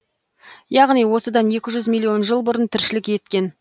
яғни осыдан екі жүз миллион жыл бұрын тіршілік еткен